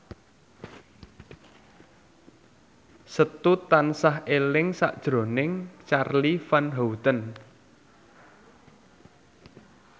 Setu tansah eling sakjroning Charly Van Houten